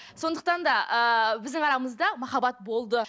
сондықтан да ыыы біздің арамызда махаббат болды